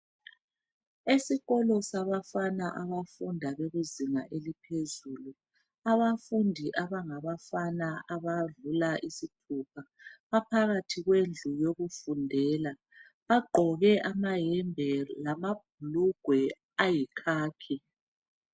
Esikolo sabafana abafunda bekuzinga eliphezulu, abafundi abangabafana abadlula isithupha, baphakathi kwendlu yokufundela. Bagqoke amayembe lamabhulugwe ayikhakhi.